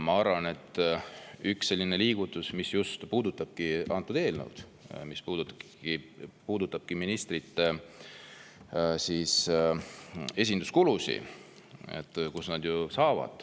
Ma arvan, et üks selline liigutus, mis puudutab just antud eelnõu ja ministrite esinduskulusid …